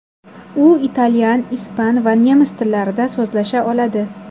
U italyan, ispan va nemis tillarida so‘zlasha oladi.